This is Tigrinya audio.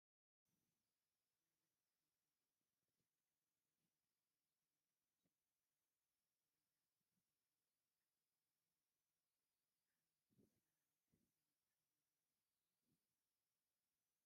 ናይ ቢሮ ኣቁሑት ከም ጠረጵዛ ፣ተሽከርካሪ ወንበር፣ ሸልፍ፣ ተቀማጢ መብራህቲ፣ ሶፋ፣ ካብ ሌዘር ዝተሰርሐ ወንበርን ካልኦትን ኣለዉ እቲ ኣብ ሰራሚክ ተነፂፉ ዘሎ እንታይ እዩ?